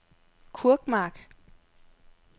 Kurkmark